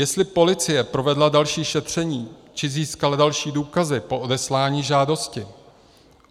Jestli policie provedla další šetření či získala další důkazy po odeslání žádosti.